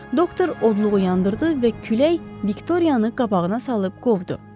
Doktor odluğu yandırdı və külək Viktoriyanı qabağına salıb qovdu.